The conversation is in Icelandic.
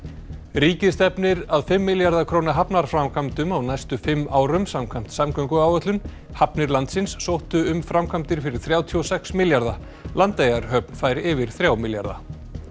ríkið stefnir að fimm milljarða króna hafnarframkvæmdum á næstu fimm árum samkvæmt samgönguáætlun hafnir landsins sóttu um framkvæmdir fyrir þrjátíu og sex milljarða Landeyjahöfn fær yfir þrjá milljarða